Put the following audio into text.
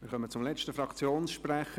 Wir kommen zum letzten Fraktionssprecher.